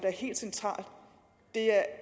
er helt centralt det er